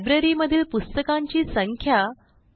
लायब्ररीमधील पुस्तकांची संख्या 2